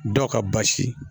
Dɔ ka basi